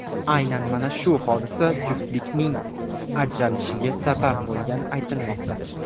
Aynan mana shu hodisa juftlikning ajrashishiga sabab bo‘lgani aytilmoqda.